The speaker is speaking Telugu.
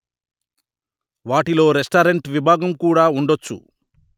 వాటిలో రెస్టారెంట్ విభాగం కూడా ఉండొచ్చు